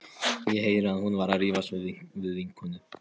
Ég heyri að hún er að rífast við vinnukonuna.